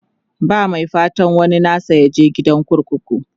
ba Mai fatan waninsa yaje gidan kurkuku